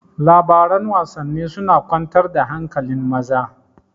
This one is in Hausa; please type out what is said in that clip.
Labaran Wasanni suna kwantar da hankali maza